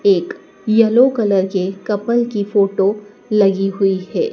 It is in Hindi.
एक येलो कलर के कपल की फोटो लगी हुईं हैं।